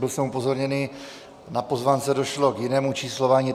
Byl jsem upozorněn, na pozvánce došlo k jinému číslování.